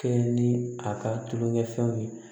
Kɛɲɛ ni a ka tulonkɛfɛnw ye